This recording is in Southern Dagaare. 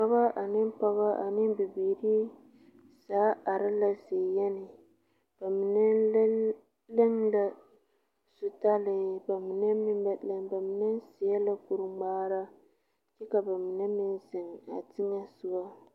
Dɔɔba ane Pɔge ane bibiiri zaa are la ziyenne ,ba mine leŋ la zupele ba mine meŋ ba leŋ ba mine saɛ la kur ŋmaara kyɛ ka ba mine meŋ zeŋ a teŋa soɔ .